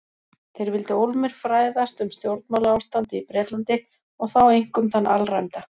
Þeir vildu ólmir fræðast um stjórnmálaástandið í Bretlandi- og þá einkum þann alræmda